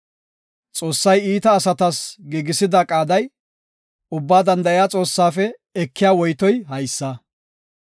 Xoossay iita asatas giigisida qaaday, Ubbaa Danda7iya Xoossaafe ekiya woytoy haysa.